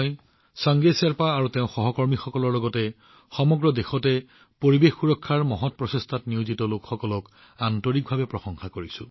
চাংগে শ্বেৰ্পাজী আৰু তেওঁৰ সহকৰ্মীসকলৰ সৈতে সমগ্ৰ দেশতে পৰিৱেশ সুৰক্ষাৰ মহৎ প্ৰচেষ্টাত নিয়োজিত লোকসকলকো মই হৃদয়েৰে প্ৰশংসা কৰো